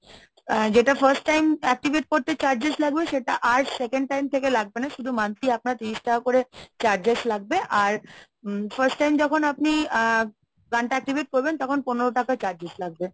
আহ যেটা first time activate করতে charges লাগবে সেটা আর second time থেকে লাগবে না। শুধু monthly আপনার তিরিশ টাকা করে charges লাগবে আর first time যখন আপনি আ গানটা activate করবেন তখন পনেরো টাকায় charges লাগবে।